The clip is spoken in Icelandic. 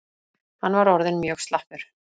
Hann var orðinn mjög slappur.